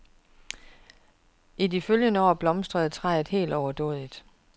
I de følgende år blomstrede træet helt overdådigt.